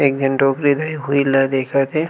एक झन डोकरी दई उहि ल देखत हे।